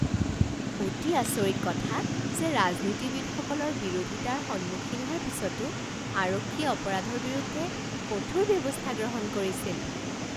অতি আচৰিত কথা যে ৰাজনীতিবিদসকলৰ বিৰোধিতাৰ সন্মুখীন হোৱাৰ পিছতো আৰক্ষীয়ে অপৰাধৰ বিৰুদ্ধে কঠোৰ ব্যৱস্থা গ্ৰহণ কৰিছিল!